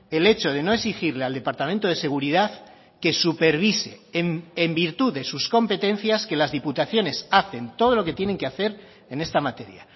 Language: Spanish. el hecho de no exigirle al departamento de seguridad que supervise en virtud de sus competencias que las diputaciones hacen todo lo que tienen que hacer en esta materia